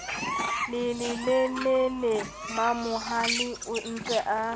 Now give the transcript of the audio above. le lelelele mamohale ontse a